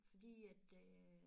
Fordi at øh